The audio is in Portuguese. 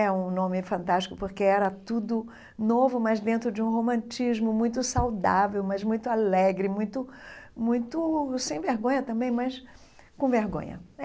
É um nome fantástico, porque era tudo novo, mas dentro de um romantismo muito saudável, mas muito alegre, muito muito sem vergonha também, mas com vergonha.